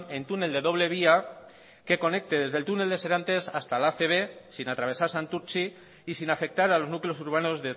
en túnel de doble vía que conecte desde el túnel de serantes hasta la acb sin atravesar santurtzi y sin afectar a los núcleos urbanos